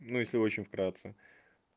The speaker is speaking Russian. ну если очень вкратце